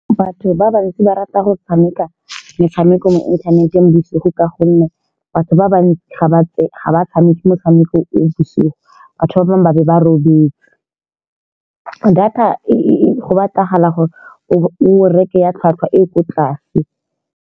Batho ba bantsi ba rata go tshameka metshameko mo inthaneteng bosigo, ka gonne batho ba bantsi ga ba ga ba tshameke motshameko e bosigo. Batho ba bangwe ba be ba robetse, data e-e-e go batlagala gore o reke ya tlhwatlhwa e e ko tlase.